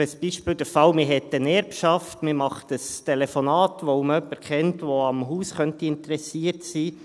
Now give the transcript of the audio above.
Als Beispiel: Man hat eine Erbschaft, man macht ein Telefonat, weil man jemanden kennt, der am Haus interessiert sein könnte.